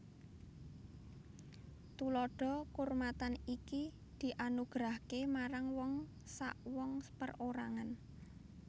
Tandha kaurmatan iki dianugerahaké marang wong sawong perorangan